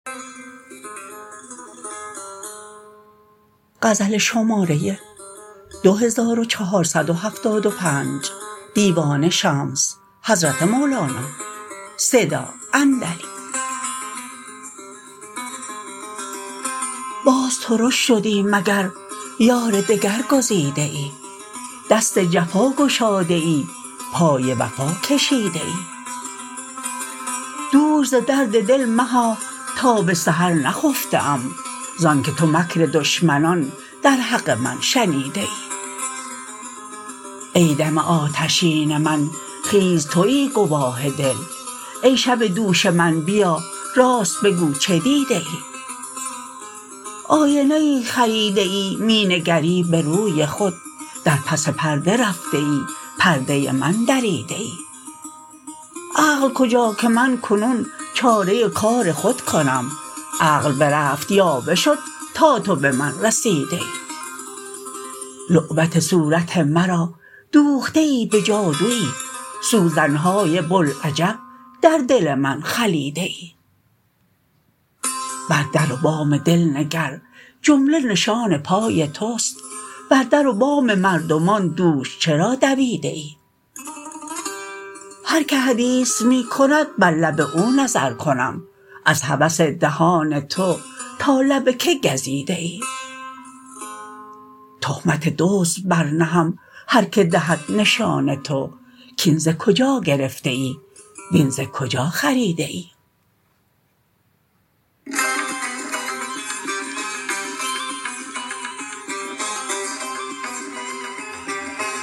باز ترش شدی مگر یار دگر گزیده ای دست جفا گشاده ای پای وفا کشیده ای دوش ز درد دل مها تا به سحر نخفته ام ز آنک تو مکر دشمنان در حق من شنیده ای ای دم آتشین من خیز توی گواه دل ای شب دوش من بیا راست بگو چه دیده ای آینه ای خریده ای می نگری به روی خود در پس پرده رفته ای پرده من دریده ای عقل کجا که من کنون چاره کار خود کنم عقل برفت یاوه شد تا تو به من رسیده ای لعبت صورت مرا دوخته ای به جادوی سوزن های بوالعجب در دل من خلیده ای بر در و بام دل نگر جمله نشان پای توست بر در و بام مردمان دوش چرا دویده ای هر کی حدیث می کند بر لب او نظر کنم از هوس دهان تو تا لب کی گزیده ای تهمت دزد برنهم هر کی دهد نشان تو کاین ز کجا گرفته ای وین ز کجا خریده ای